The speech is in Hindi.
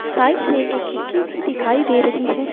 साइड से एक खिड़की भी दिखाई दे रही है।